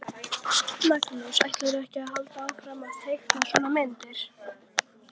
Magnús: Ætlarðu að halda áfram að teikna svona myndir?